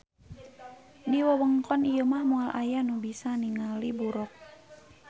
Di wewengkon ieu mah moal aya nu bisa ninggali buroq